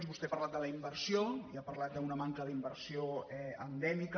vostè ha parlat de la inversió i ha parlat d’una manca d’inversió endèmica